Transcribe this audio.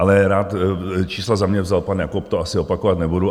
Ale čísla za mě vzal pan Jakob, to asi opakovat nebudu.